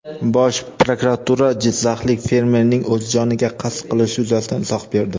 Bosh prokuratura jizzaxlik fermerning o‘z joniga qasd qilishi yuzasidan izoh berdi.